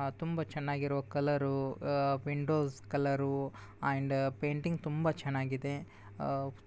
ಆ ತುಂಬಾ ಚೆನ್ನಾಗಿರೋ ಕಲರು ಆ ವಿಂಡೋಸ್ ಕಲರು ಅಂಡ್ ಪೇಂಟಿಂಗ್ ತುಂಬಾ ಚೆನ್ನಾಗಿದೆ